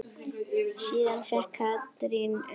Síðan fékk Katrín umboð.